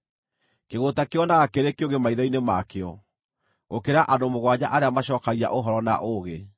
Kĩgũũta kĩĩonaga kĩrĩ kĩũgĩ maitho-inĩ makĩo, gũkĩra andũ mũgwanja arĩa macookagia ũhoro na ũũgĩ.